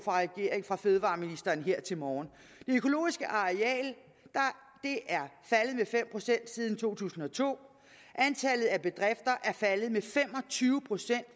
fra fødevareministeren her til morgen det økologiske areal er faldet med fem procent siden to tusind og to og antallet af bedrifter er faldet med fem og tyve procent